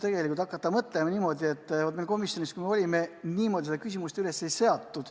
Tegelikult, kui hakata mõtlema, siis meil komisjonis niimoodi seda küsimust üles ei seatud.